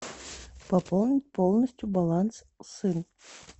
пополнить полностью баланс сын